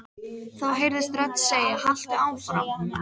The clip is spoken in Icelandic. Þá heyrðist rödd segja: Haltu áfram.